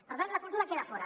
per tant la cultura queda fora